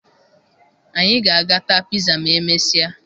Anyị ga-aga taa piza ma e mesịa